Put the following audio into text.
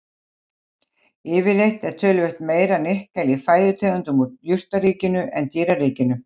Yfirleitt er töluvert meira nikkel í fæðutegundum úr jurtaríkinu en dýraríkinu.